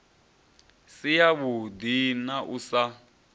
si yavhuḓi na u sa